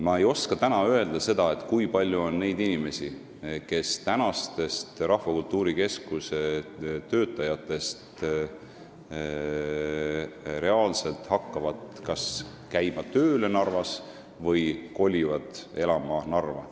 Ma ei oska täna öelda, kui palju on neid inimesi, kes praegustest Rahvakultuuri Keskuse töötajatest hakkavad reaalselt kas Narva tööle käima või kolivad sinna elama.